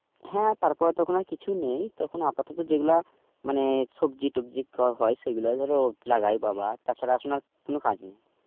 হ্যাঁ তারপরে তো এখন আর কিছুই নেই. তো আপাতত যেগুলা মানে সবজি টবজি হয় সেগুলাই ধরো লাগায় বাবা. তাছাড়া এখন আর কোনো কাজ নেই.